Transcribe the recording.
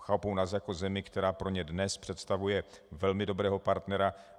Chápou nás jako zemi, která pro ně dnes představuje velmi dobrého partnera.